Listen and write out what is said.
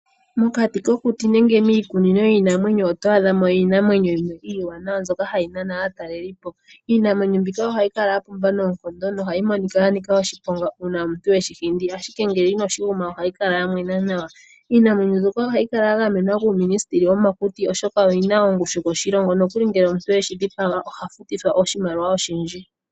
Mokati kokuti nenge miikunino otwaadhamo iinamwenyo yimwe ndjoka iiwanawa noha yi nana aataleli, iinamwenyo mbika oha yi kala yapumba no yanika oshiponga ngele omuntu eshi hindi ashike ngele inoshi guma ohayi kala yamwe nawa, iinamwenyo ndjoka ohayika ya gamenwa kuuminisiteli womakuti oshoka oyina ongushu koshilongo nokuli ngele omuntu eshi dhipaga ohafutithwa iimaliwa oyindji.